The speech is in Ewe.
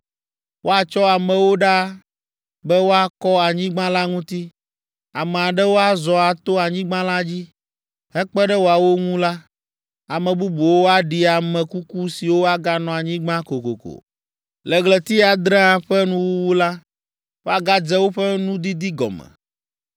Woatsɔ amewo ɖaa be woakɔ anyigba la ŋuti. Ame aɖewo azɔ ato anyigba la dzi, hekpe ɖe woawo ŋu la, ame bubuwo aɖi ame kuku siwo aganɔ anyigba kokoko. “ ‘Le ɣleti adrea ƒe nuwuwu la, woagadze woƒe nudidi gɔme.